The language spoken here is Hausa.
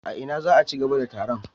A ina za a ci gaba da taron?